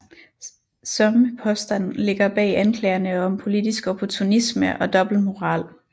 Samme påstand ligger bag anklagerne om politisk opportunisme og dobbeltmoral